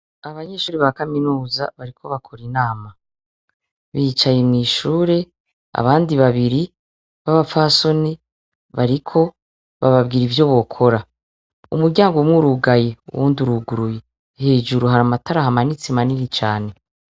Abanyeshure ba Kaminuza bariko bakor’inama. Bicaye mw’ishure, abandi babiri b’abapfasoni bariko bababwira ivyo bokora. Umury’umwurugaye, uwund’uruguruye. Hejuru har’amatara ahamanitse manini cane.